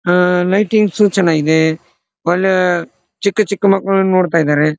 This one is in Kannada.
ಆ ಲೈಟಿಂಗ್ಸ್ ಚೆನ್ನಾಗಿದೆ ಒಳ್ಲೆ ಚಿಕ್ಕ ಚಿಕ್ಕ ಮಕ್ಕಳು ನೊಡ್ತಾ ಇದಾರೆ.